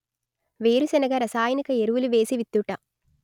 వేరుశనగ రసాయనిక ఎరువులు వేసి విత్తుట